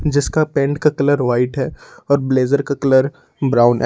जिसका पेंट का colour white है और ब्लेजर का कलर ब्राउन है।